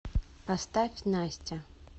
поставь настя